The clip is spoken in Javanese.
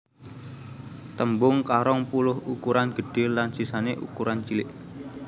Tembung karong puluh ukuran gedhé lan sisané ukuran cilik